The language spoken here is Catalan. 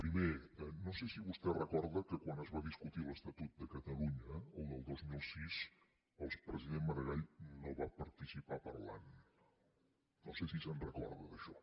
primer no sé si vostè recorda que quan es va discutir l’estatut de catalunya el del dos mil sis el president maragall no hi va participar parlant no sé si se’n recorda d’això